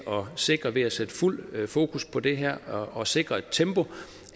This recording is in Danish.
sikre ved at sætte fuld fokus på det her og sikre et tempo